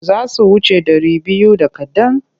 Za su wuce ɗari biyu da kaɗan.